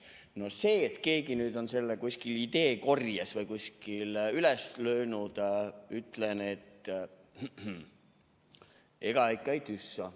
No selle kohta, et keegi nüüd on selle ideekorjest või kuskilt üles võtnud, ütlen, et ega ikka ei tüssa.